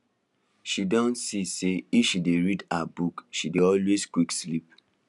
she don see say if she dey read her book she dey always quick sleep